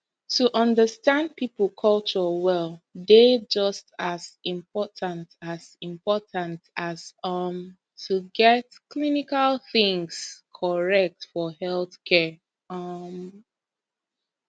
to understand people culture well dey just as important as important as um to get clinical things correct for healthcare um